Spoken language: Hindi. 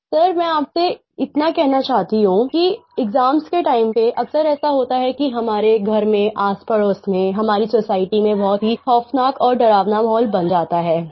सर मैं आपसे इतना कहना चाहती हूँ कि एक्साम्स के टाइम पे अक्सर ऐसा होता है कि हमारे घर में आसपड़ोस में हमारी सोसाइटी में बहुत ही ख़ौफ़नाक और डरावना माहौल बन जाता है